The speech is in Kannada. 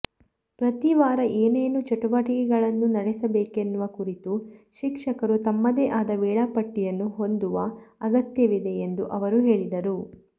ಪ್ರತೀ ವಾರ ಏನೇನು ಚಟುವಟಿಕೆಗಳನ್ನು ನಡೆಸಬೇಕೆನ್ನುವ ಕುರಿತು ಶಿಕ್ಷಕರು ತಮ್ಮದೇ ಆದ ವೇಳಾಪಟ್ಟಿಯನ್ನು ಹೊಂದುವ ಅಗತ್ಯವಿದೆ ಎಂದೂ ಅವರು ಹೇಳಿದರು